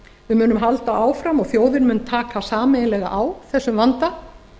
við munum halda áfram og þjóðin mun taka sameiginlega á þessum vanda